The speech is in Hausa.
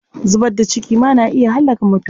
Zubar da ciki ma na iya hallaka mutum.